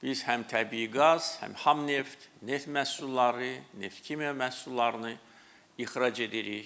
Biz həm təbii qaz, həm xam neft, neft məhsulları, neft-kimya məhsullarını ixrac edirik.